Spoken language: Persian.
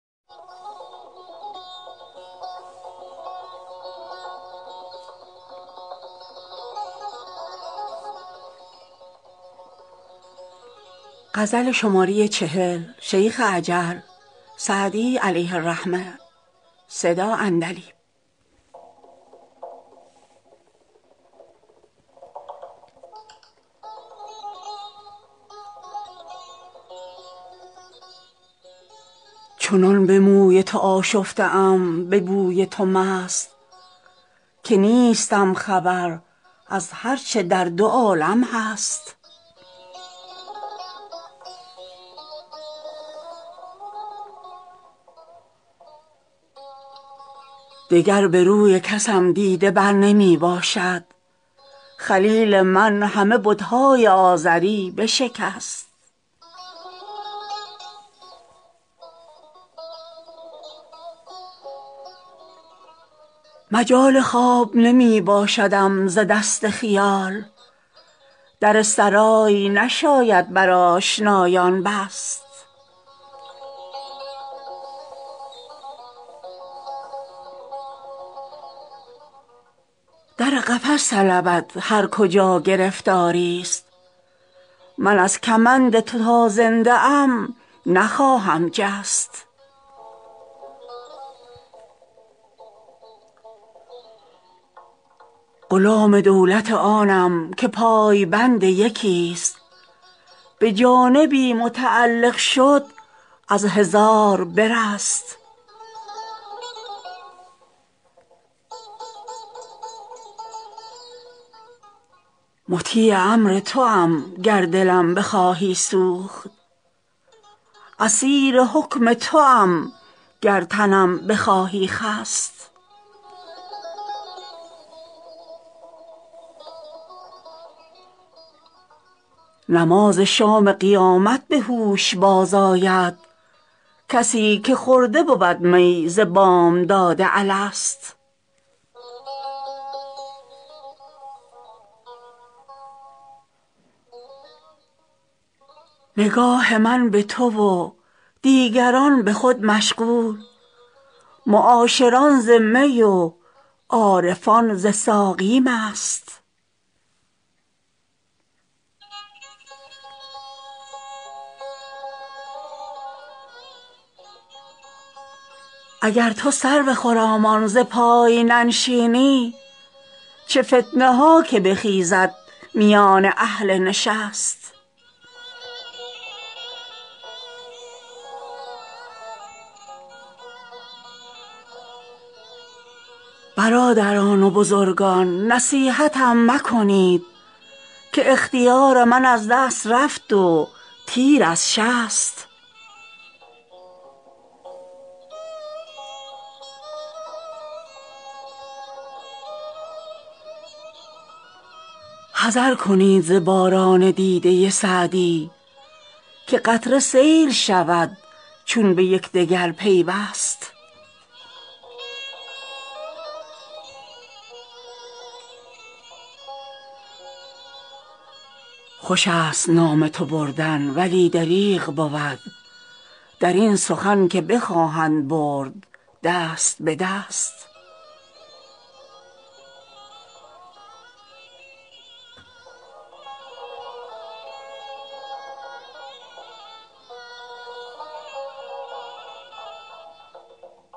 چنان به موی تو آشفته ام به بوی تو مست که نیستم خبر از هر چه در دو عالم هست دگر به روی کسم دیده بر نمی باشد خلیل من همه بت های آزری بشکست مجال خواب نمی باشدم ز دست خیال در سرای نشاید بر آشنایان بست در قفس طلبد هر کجا گرفتاری ست من از کمند تو تا زنده ام نخواهم جست غلام دولت آنم که پای بند یکی ست به جانبی متعلق شد از هزار برست مطیع امر توام گر دلم بخواهی سوخت اسیر حکم توام گر تنم بخواهی خست نماز شام قیامت به هوش باز آید کسی که خورده بود می ز بامداد الست نگاه من به تو و دیگران به خود مشغول معاشران ز می و عارفان ز ساقی مست اگر تو سرو خرامان ز پای ننشینی چه فتنه ها که بخیزد میان اهل نشست برادران و بزرگان نصیحتم مکنید که اختیار من از دست رفت و تیر از شست حذر کنید ز باران دیده سعدی که قطره سیل شود چون به یکدگر پیوست خوش است نام تو بردن ولی دریغ بود در این سخن که بخواهند برد دست به دست